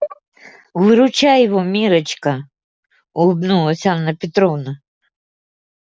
выручай его миррочка улыбнулась анна петровна